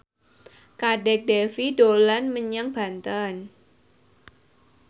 Kadek Devi dolan menyang Banten